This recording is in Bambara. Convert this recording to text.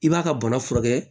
I b'a ka bana furakɛ